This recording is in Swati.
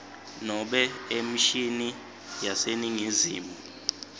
nobe emishini yaseningizimu